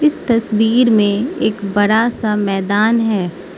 तस्वीर में एक बड़ा सा मैदान है।